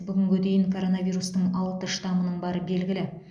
бүгінге дейін коронавирустың алты штамының бары белгілі